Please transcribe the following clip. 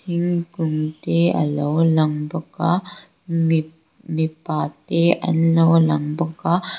thingkung te a lo lang bawk a mi mipa te an lo lang bawk a.